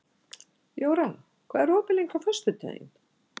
Jóra, hvað er opið lengi á föstudaginn?